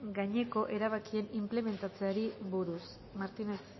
gaineko erabakien inplementatzeari buruz martínez